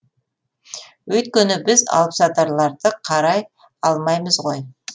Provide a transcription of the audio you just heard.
өйткені біз алыпсатарларды қарай алмаймыз ғой